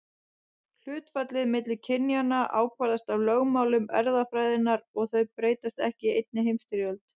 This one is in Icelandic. Hlutfallið milli kynjanna ákvarðast af lögmálum erfðafræðinnar og þau breytast ekki í einni heimstyrjöld.